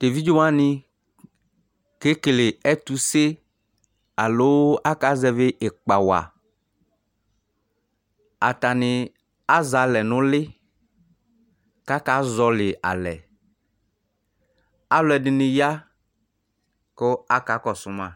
T'eviɖze wanɩ ƙeƙele ɛtʋse aloo aƙazɛvɩ ɩƙpa waAtanɩ azɛ alɛ nʋ ʋlɩ ƙʋ aƙa zɔhɔlɩ alɛAlʋɛɖɩnɩ ƴa ƙʋ aka ƙɔsʋ ma